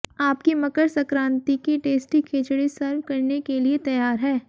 आपकी मकर संक्रांति की tasty khichdi serve करने के लिए तैयार है